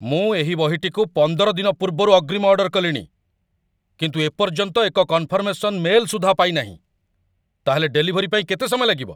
ମୁଁ ଏହି ବହିଟିକୁ ପନ୍ଦର ଦିନ ପୂର୍ବରୁ ଅଗ୍ରୀମ ଅର୍ଡର କଲିଣି, କିନ୍ତୁ ଏ ପର୍ଯ୍ୟନ୍ତ ଏକ କନଫର୍ମେସନ୍ ମେଲ୍ ସୁଦ୍ଧା ପାଇନାହିଁ। ତା'ହେଲେ ଡେଲିଭରି ପାଇଁ କେତେ ସମୟ ଲାଗିବ?